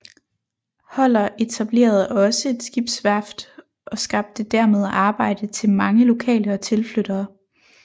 Holler etablerede også et skibsvæft og skabte dermed arbejde til mange lokale og tilflyttere